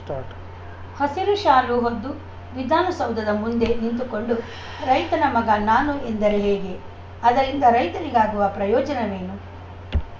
start ಹಸಿರು ಶಾಲು ಹೊದ್ದು ವಿಧಾನಸೌಧದ ಮುಂದೆ ನಿಂತುಕೊಂಡು ರೈತನ ಮಗ ನಾನು ಎಂದರೆ ಹೇಗೆ ಅದರಿಂದ ರೈತರಿಗಾಗುವ ಪ್ರಯೋಜನವೇನು